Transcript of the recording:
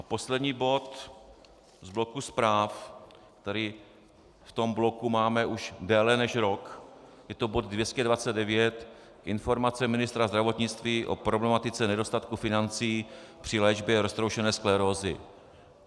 A poslední bod z bloku zpráv, který v tom bloku máme už déle než rok, je to bod 229 - Informace ministra zdravotnictví o problematice nedostatku financí při léčbě roztroušené sklerózy.